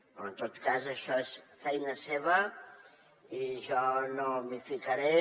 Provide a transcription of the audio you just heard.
però en tot cas això és feina seva i jo no m’hi ficaré